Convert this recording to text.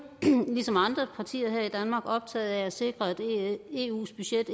ligesom andre partier her i danmark optaget af at sikre at eus budget